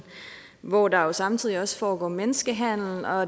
hvor der er samtidig også foregår menneskehandel og